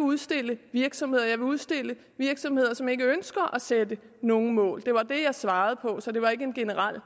udstille virksomheder jeg vil udstille virksomheder som ikke ønsker at sætte nogle mål det var det jeg svarede på så det var ikke en generel